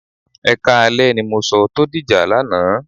Ẹ káalẹ́ ni mo sọ tó dìjà lánàá.